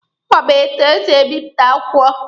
Ọ ma etu esi a bipụta akwụkwọ?